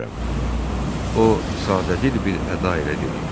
O sadədil bir əda ilə dedi.